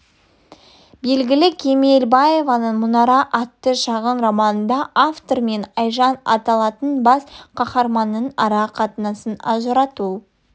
белгілі кемелбаеваның мұнара атты шағын романында автор мен айжан аталатын бас қаһарманның ара қатынасын ажырату